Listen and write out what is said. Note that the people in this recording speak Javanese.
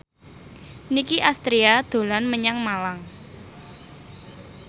Nicky Astria dolan menyang Malang